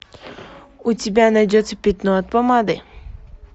у тебя найдется пятно от помады